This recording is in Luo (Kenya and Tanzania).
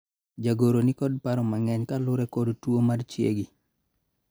jagoro nikod paro mang'eny kaluwore kod tuo mar chiegi